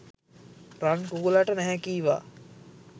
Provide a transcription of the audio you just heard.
රන් කුකුළට නැහැ කීවා